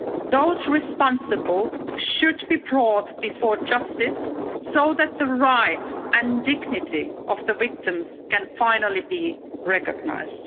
Those responsible should be brought before justice so that the rights and dignity of the victims can finally be recognised.